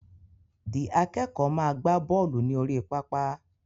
The akẹ́kọ̀ọ́ máa gbá bọ́lù ní orí pápá